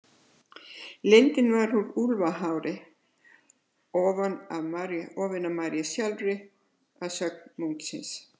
Lindinn var úr úlfaldahári og ofinn af Maríu sjálfri, að sögn munksins.